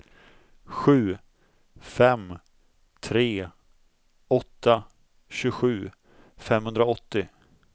sju fem tre åtta tjugosju femhundraåttio